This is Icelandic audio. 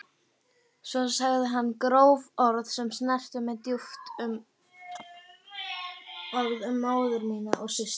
Svo sagði hann gróf orð sem snertu mig djúpt, orð um móður mína og systur.